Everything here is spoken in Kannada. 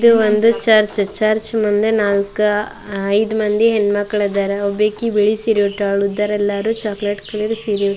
ಇದು ಒಂದು ಚರ್ಚ್ ಚರ್ಚ್ ಮುಂದೆ ನಾಲ್ಕ ಅ ಐದ್ ಮಂದಿ ಹೆಣ್ಣು ಮಕ್ಕಳು ಇದ್ದಾರೆ ಒಬ್ಬೇಕಿ ಬಿಳಿ ಸಿರಿ ಉಟ್ಟಳು ಇದ್ಧರೆಲ್ಲಾರು ಚಾಕ್ಲೇಟ್ ಕಲರ್ ಸಿರಿ ಉ --